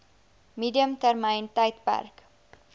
medium termyn tydperk